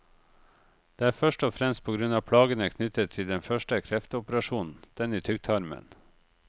Det er først og fremst på grunn av plagene knyttet til den første kreftoperasjonen, den i tykktarmen.